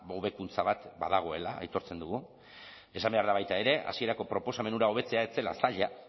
hobekuntza bat badagoela aitortzen dugu esan behar da baita ere hasierako proposamen hura hobetzea ez zela zaila